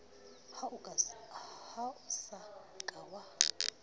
ha o sa ka wa